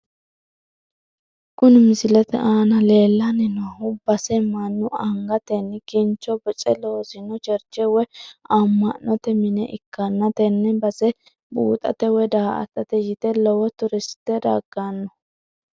Kuni misilete aana leellanni noohu base mannu angatenni kincho boce loosino cherche woyi amma'mote mine ikkanna , tenne base buuxate woyi daa''atate yite lowo turiste dagganno.